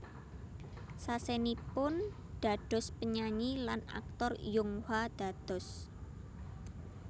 Sasenipun dados penyanyi lan aktor Yonghwa dados